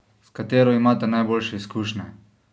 S katero imate najboljše izkušnje?